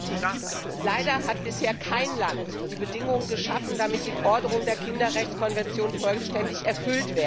Herr Präsident! Leider hat bisher kein Land die Bedingungen geschaffen, damit die Forderungen der Kinderrechtskonvention vollständig erfüllt werden.